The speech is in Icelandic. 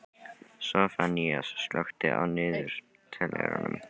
Soffanías, slökktu á niðurteljaranum.